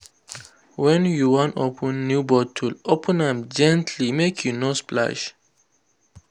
when you wan open new bottle open am gently make e no splash.